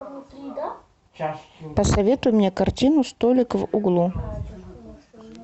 посоветуй мне картину столик в углу